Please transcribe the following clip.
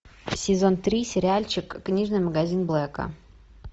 сезон три сериальчик книжный магазин блэка